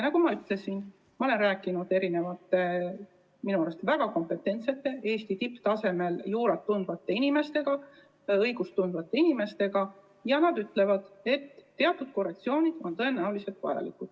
Nagu ma ütlesin, olen rääkinud mitme minu arvates väga kompetentse, tipptasemel juurat tundvaEesti inimesega, õigust tundva inimesega, ning nad ütlevad, et teatud korrektsioonid on tõenäoliselt vajalikud.